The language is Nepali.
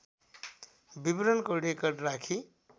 विवरणको रेकर्ड राखी